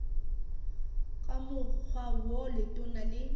ka mokgwa wo letona le